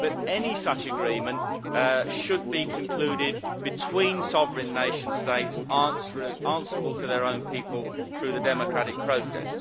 Any such agreement should be concluded between sovereign nation states, answerable to their own people through the democratic process.